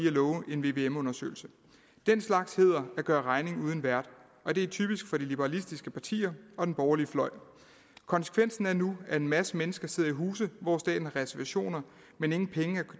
at love en vvm undersøgelse den slags hedder at gøre regning uden vært og det er typisk for de liberalistiske partier og den borgerlige fløj konsekvensen er nu at en masse mennesker sidder i huse hvor staten har reservationer men ingen penge